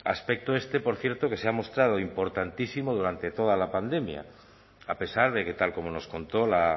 aspecto este por cierto que se ha mostrado importantísimo durante toda la pandemia a pesar de que tal como nos contó la